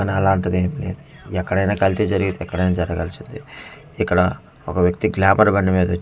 అనాలాంటిది ఎం లేదు ఎక్కడైనా కల్తి జరిగితే ఎక్కడైనా జరగాల్సిందే ఇక్కడ ఒక వ్యక్తి గ్లామర్ బండి మీద వచ్చి ఉన్నాడు .]